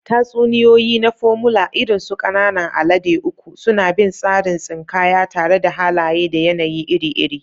Tatsuniyoyi na Formula, irin su Ƙanan Alade Uku, suna bin tsarin tsinkaya tare da halaye da yanayi iri-iri.